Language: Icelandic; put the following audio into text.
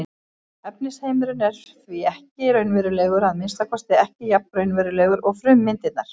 Efnisheimurinn er því ekki raunverulegur, að minnsta kosti ekki jafn raunverulegur og frummyndirnar.